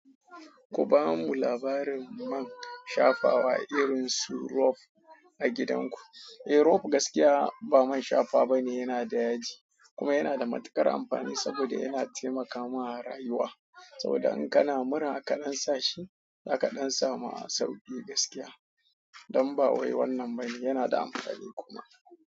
Ku ba mu labarin man shafawa irin su rope a gidan ku. Eh, rope gaskiya ba man shafa bane, yana da yaji kuma yana da matuƙar amfani saboda yana taimakama rayuwa. Saboda in kana mura kaɗan sa shi, za ka ka ɗan samu sauƙi gaskiya. Don ba wai wannan ba ne, yana da amfani kuma.